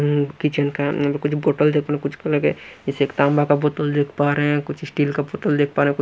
Kitchen का अंदर कुछ बॉटल दिख पा कुछ कल के जैसे एक तांबा का बोतल देख पा रहे हैं कुछ स्टील का बोतल देख पा रहा है।